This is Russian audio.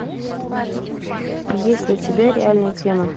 есть ли у тебя реальная тема